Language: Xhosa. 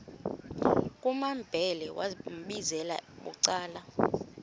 kumambhele wambizela bucala